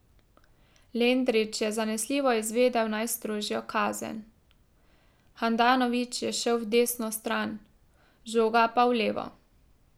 Lendrić je zanesljivo izvedel najstrožjo kazen, Handanović je šel v desno stran, žoga pa v levo.